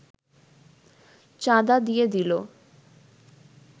চাঁদা দিয়ে দিল